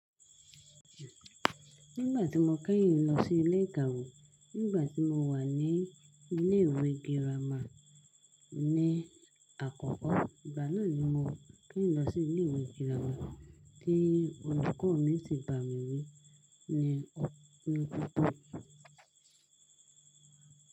Nígbà tí mo kẹ́yìn lọ sí ilé ìkàwé, nígbà tí mo wà ní ilé ìwé girama ní, àkọ́kọ́, ìgbà náà ni mo kẹ́yìn lọ sí ilé ìwé girama tí olùkọ́ mi si bà mí wí ní pópó.